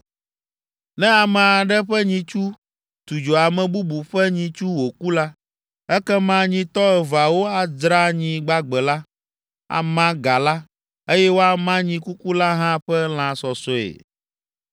“Ne ame aɖe ƒe nyitsu tu dzo ame bubu ƒe nyitsu wòku la, ekema nyitɔ eveawo adzra nyi gbagbe la, ama ga la, eye woama nyi kuku la hã ƒe lã sɔsɔe.